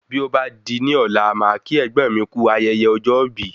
Bí ọ bá di ní ọ̀la màá kí ẹ̀gbọ́n mi kú ayẹyẹ ọjọ́ ibi